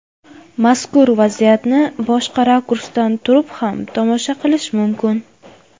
Mazkur vaziyatni boshqa rakursdan turib ham tomosha qilish mumkin.